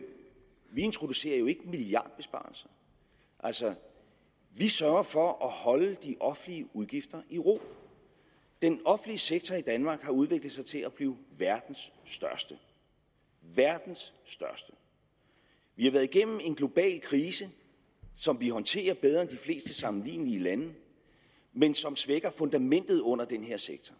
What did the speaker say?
introducerer milliardbesparelser vi sørger for at holde de offentlige udgifter i ro den offentlige sektor i danmark har udviklet sig til at blive verdens største verdens største vi har været igennem en global krise som vi håndterer bedre end de fleste sammenlignelige lande men som svækker fundamentet under den her sektor